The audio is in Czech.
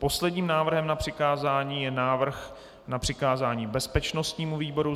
Posledním návrhem na přikázání je návrh na přikázání bezpečnostnímu výboru.